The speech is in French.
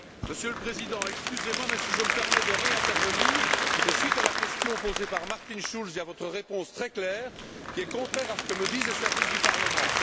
Monsieur le Président, excusez moi, mais si je me permets d'intervenir à nouveau, c'est suite à la question posée par Martin Schulz et à votre réponse très claire, qui est contraire à ce que me disent les services du Parlement.